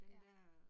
Ja